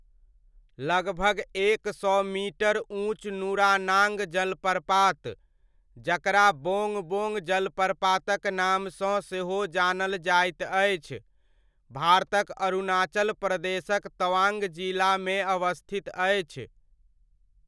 लगभग एक सौ मीटर ऊँच नुरानाङ्ग जलप्रपात, जकरा बोङ्ग बोङ्ग जलप्रपातक नामसँ सेहो जानल जाइत अछि, भारतक अरुणाचल प्रदेशक तवांग जिलामे अवस्थित अछि।